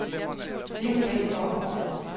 Liv Bækgaard